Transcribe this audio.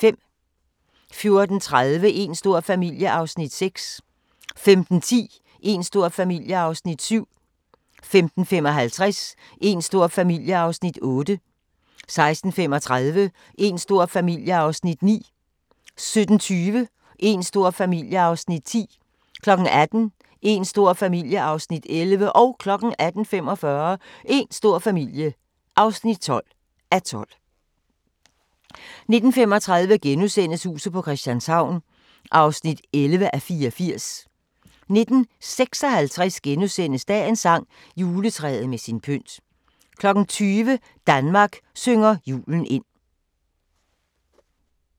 14:30: Een stor familie (6:12) 15:10: Een stor familie (7:12) 15:55: Een stor familie (8:12) 16:35: Een stor familie (9:12) 17:20: Een stor familie (10:12) 18:00: Een stor familie (11:12) 18:45: Een stor familie (12:12) 19:35: Huset på Christianshavn (11:84)* 19:56: Dagens sang: Juletræet med sin pynt * 20:00: Danmark synger julen ind